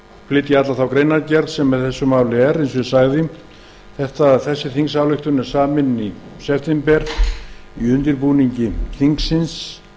flytja alla þá greinargerð sem fylgir málinu en eins og ég sagði er þingsályktunartillagan samin í september í undirbúningi þingsins